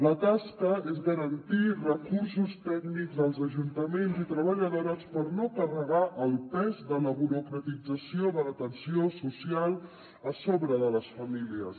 la tasca és garantir recursos tècnics als ajuntaments i treballadores per no carregar el pes de la burocratització de l’atenció social sobre les famílies